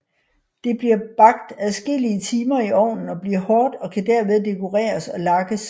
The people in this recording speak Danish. Det bliver bagt adskillige timer i ovnen og bliver hårdt og kan derved dekoreres og lakkes